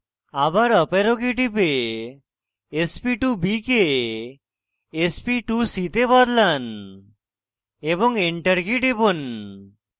আবার up arrow key টিপে sp2b কে sp2c তে বদলান এবং enter কী টিপুন